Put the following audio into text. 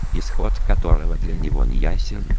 исход которого для него не я